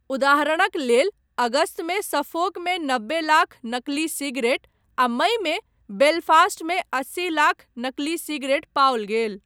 उदाहरणक लेल अगस्तमे सफ़ोकमे नब्बे लाख नकली सिगरेट आ मईमे बेलफ़ास्टमे अस्सी लाख नकली सिगरेट पाओल गेल।